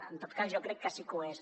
en tot cas jo crec que sí que ho és